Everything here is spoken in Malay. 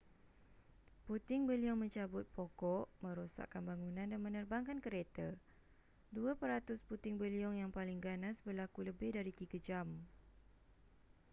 puting beliung mencabut pokok merosakkan bangunan dan menerbangkan kereta dua peratus puting beliung yang paling ganas berlaku lebih dari tiga jam